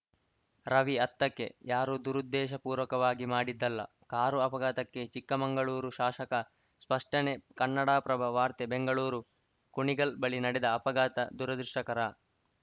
ರವಿ ಹತ್ತಕ್ಕೆ ಯಾರೂ ದುರುದ್ದೇಶಪೂರ್ವಕವಾಗಿ ಮಾಡಿದ್ದಲ್ಲ ಕಾರು ಅಪಘಾತಕ್ಕೆ ಚಿಕ್ಕಮಗಳೂರು ಶಾಸಕ ಸ್ಪಷ್ಟನೆ ಕನ್ನಡಪ್ರಭ ವಾರ್ತೆ ಬೆಂಗಳೂರು ಕುಣಿಗಲ್‌ ಬಳಿ ನಡೆದ ಅಪಘಾತ ದುರದೃಷ್ಟಕರ